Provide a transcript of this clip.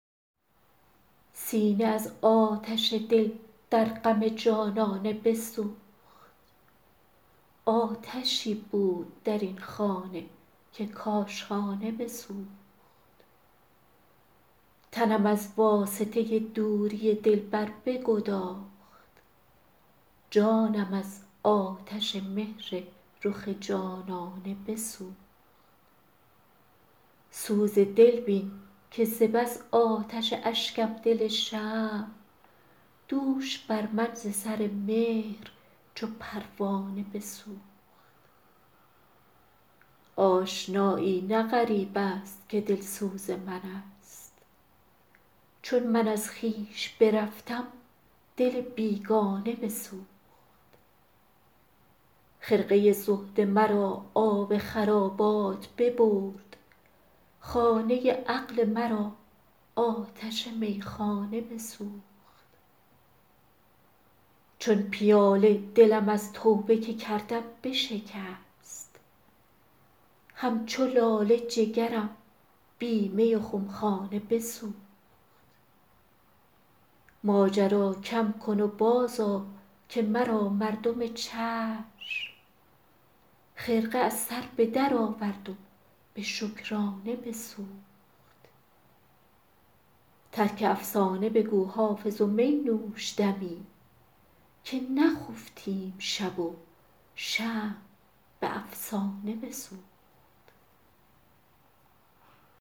سینه از آتش دل در غم جانانه بسوخت آتشی بود در این خانه که کاشانه بسوخت تنم از واسطه دوری دلبر بگداخت جانم از آتش مهر رخ جانانه بسوخت سوز دل بین که ز بس آتش اشکم دل شمع دوش بر من ز سر مهر چو پروانه بسوخت آشنایی نه غریب است که دلسوز من است چون من از خویش برفتم دل بیگانه بسوخت خرقه زهد مرا آب خرابات ببرد خانه عقل مرا آتش میخانه بسوخت چون پیاله دلم از توبه که کردم بشکست همچو لاله جگرم بی می و خمخانه بسوخت ماجرا کم کن و بازآ که مرا مردم چشم خرقه از سر به درآورد و به شکرانه بسوخت ترک افسانه بگو حافظ و می نوش دمی که نخفتیم شب و شمع به افسانه بسوخت